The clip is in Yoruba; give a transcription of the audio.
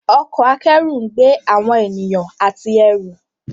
Ọkọ̀ akẹ́rù ńgbé awọn ènìyàn àti ẹrù.